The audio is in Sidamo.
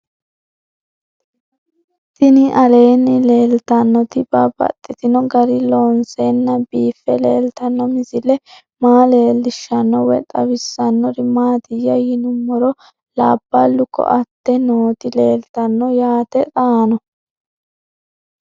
Tinni aleenni leelittannotti babaxxittinno garinni loonseenna biiffe leelittanno misile maa leelishshanno woy xawisannori maattiya yinummoro labbalu koatte nootti leelittanno yaatte xaanno